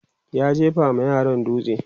ya jefa ma yaran dutse